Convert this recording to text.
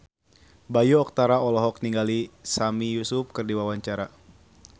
Bayu Octara olohok ningali Sami Yusuf keur diwawancara